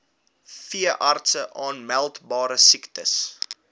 veeartse aanmeldbare siektes